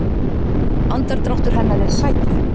Andardráttur hennar er sætur.